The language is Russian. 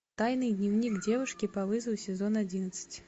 тайный дневник девушки по вызову сезон одиннадцать